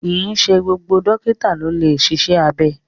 Kìí ṣe gbogbo dókítà ló lè ṣiṣẹ́ abẹ